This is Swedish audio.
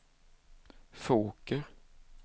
Fåker